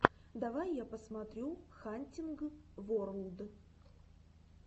давай я посмотрю хантинг ворлд